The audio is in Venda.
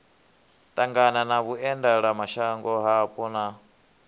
ṱangana na vhuendelamashango hapo na